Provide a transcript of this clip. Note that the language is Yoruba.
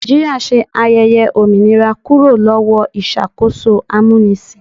Nàìjíríà ṣe ayẹyẹ òmìnira kúrò lọ́wọ́ ìṣàkóso amúnisìn.